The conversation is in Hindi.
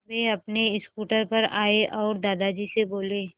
वे अपने स्कूटर पर आए और दादाजी से बोले